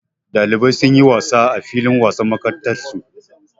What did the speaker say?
Ɗalibai sun yi wasa a filin wasan makarantarsu.